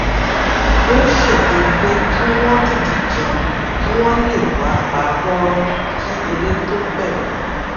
ó ṣètò pé kí wón tètè jẹun kí wón lè wà pa róró kí eré tó bèrè